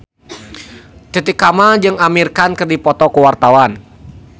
Titi Kamal jeung Amir Khan keur dipoto ku wartawan